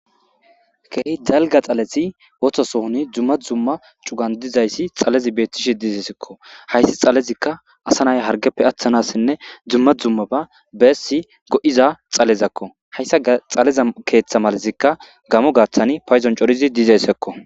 Keehy dalga xaleti wotosohoni dzumma zumma cugan dizayssi xalezi beettishi dizesekko hayssi xalezikka asanay hargeppe aththanassinne dzumma dzumma ba beessi go7iza xalezakko hayssa xaleza keeththa malazikka gamo gaaththani payzon corizi diizessekko